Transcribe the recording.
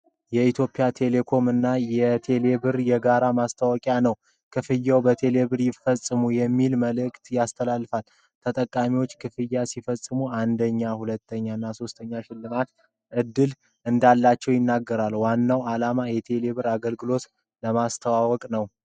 የኢትዮ ቴሌኮም እና ቴሌብር የጋራ ማስታወቂያ ነው። "ክፍያዎን በቴሌብር ይፈጽሙ!" የሚል መልዕክት ያስተላልፋል። ተጠቃሚዎች ክፍያ ሲፈጽሙ 1ኛ፣ 2ኛ እና 3ኛ ሽልማት ዕድል እንዳላቸው ይናገራል። ዋናው ዓላማ የቴሌብርን አገልግሎት ለማስተዋወቅ ነው።